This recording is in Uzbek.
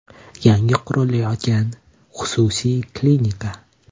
Yangi qurilayotgan xususiy klinika.